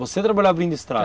Você trabalhou abrindo estrada?